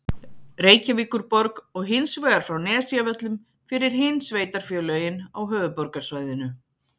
Reykjavíkurborg og hins vegar frá Nesjavöllum fyrir hin sveitarfélögin á höfuðborgarsvæðinu.